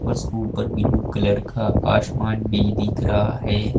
बस उपर blue colour का आसमान भी दिख रहा है।